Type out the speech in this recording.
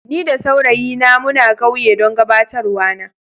Ni da saurayi na muna kauye dan gabatarwa na.